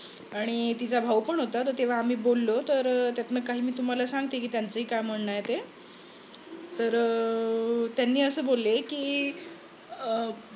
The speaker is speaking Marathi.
आणि तिचा भाऊ पण होता तर तेव्हा आम्ही बोललो तर त्यातल काही मी तुम्हाला सांगते कि त्याचं काय म्हणन आहे ते तर अह त्यांनी अस बोलले कि